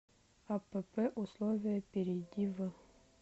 апп условия перейди в